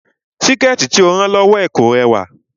Síkẹ̀tí tí ó rán lọ́wọ́ ẹ̀ kò rẹwà